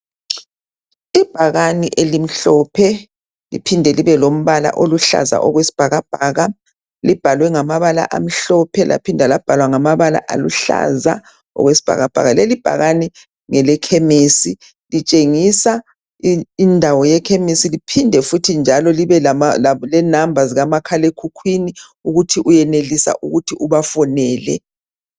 Ibhakane elimhlophe liphinde libe lombala oluhlaza okwesibhakabhaka libhalwe ngamabala amhlophe laphinde labhalwa ngamabala aluhlaza okwesibhakabhaka, leli bhakane ngelekhemesi litshengisa indawo yekhemisi liphinde njalo libe lenamba zikamakhala ekhukhwini ukuthi uyayenelisa ukuthi ubafonele